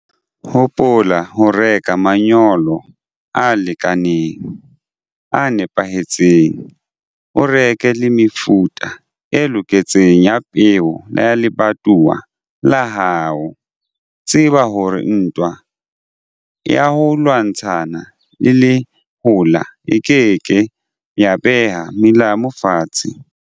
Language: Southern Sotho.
Hopola ho reka manyolo a lekaneng, a nepahetseng. O reke le mefuta e loketseng ya peo ya lebatowa la hao. Tseba hore ntwa ya ho lwantshana le lehola e ke ke ya beha melamu fatshe.